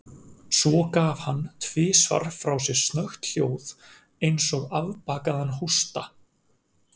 Svo gaf hann tvisvar frá sér snöggt hljóð, eins og afbakaðan hósta.